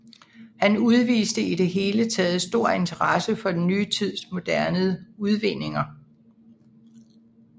Han udviste i det hele taget stor interesse for den nye tids moderne udvinninger